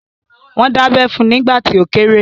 Wọ́n dábẹ́ fun nígbà tí ó kéré